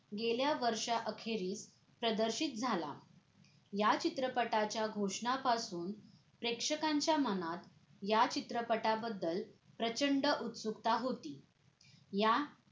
गेल्या वर्षा अखेरीस प्रदर्शित झाला या चित्रपटाच्या घोषणा पासुन प्रेक्षकांच्या मनात या चित्रपटा बद्दल प्रचंड उत्सुकता होती या